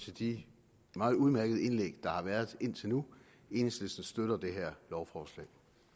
til de meget udmærkede indlæg der har været indtil nu enhedslisten støtter det her lovforslag